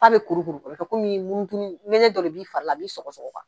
Aw bɛ kurukuru kɔmi dɔ b' fara la a b'iɔgɔ sɔgɔma